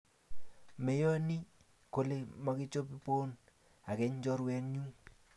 Meyoni kole mokechobon ageny chorwenyuu